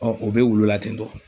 o bɛ wulu la tentɔ.